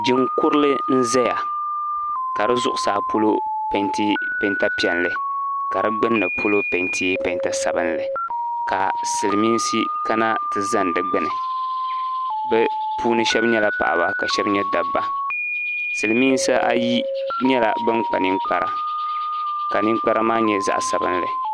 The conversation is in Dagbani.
Jin'kurili n-ʒeya ka di zuɣusaa polo peenti peenta piɛlli ka di gbunni polo peenti peenta sabinli ka Silimiinsi kana ti zani di gbuni bɛ puuni shɛba nyɛla paɣiba ka shɛba nyɛ dabba Silimiinsi ayi nyɛla ban kpa ninkpara ka ninkpara maa nyɛ zaɣ'sabinli .